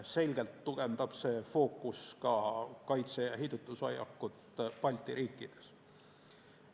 Selgelt tugevdab see fookus ka kaitse- ja heidutushoiakut Balti riikides.